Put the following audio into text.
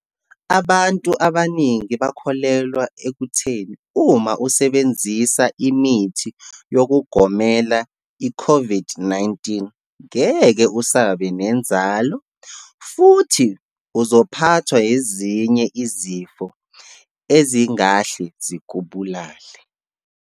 Abantu abaningi bakholelwa ekutheni uma usebenzisa imithi yokugomelo i-COVID-19, ngeke usabe nenzalo, futhi uzophathwa ezinye izifo ezingahle zikubulale.